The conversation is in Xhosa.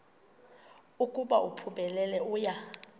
ukuba uphumelele uya